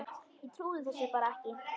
Ég trúði þessu bara ekki.